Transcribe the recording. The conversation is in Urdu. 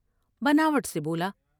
بناوٹ سے بولا ۔